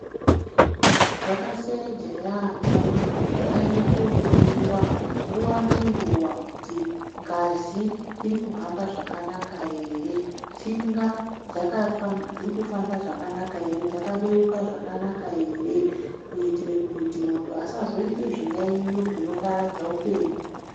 Zvakaseeja yambo kuti muntu aende kohloiwa nguwa ngenguwa kuti ngazi irikuhamba zvakanaka ere , tsinga dzaka dzirikufamba zvakanaka ere , dzakabeuka zvakanaka ere kuitire kuti muntu asazoite zviyaiyo zvinoparadze upenyu.